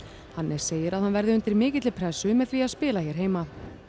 Hannes segir að hann verði undir mikilli pressu með því að spila hér heima